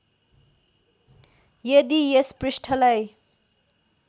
यदि यस पृष्ठलाई